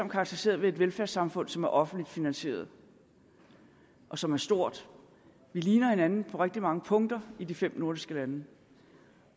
karakteriseret ved et velfærdssamfund som er offentligt finansieret og som er stort vi ligner hinanden på rigtig mange punkter i de fem nordiske lande